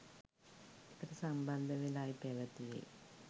එකට සම්බන්ධ වෙලායි පැවතියේ.